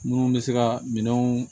Minnu bɛ se ka minɛnw